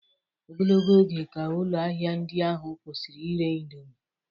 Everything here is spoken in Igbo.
Ogologo oge ka ụlọ ahịa ndị ahụ kwụsịrị ire indomi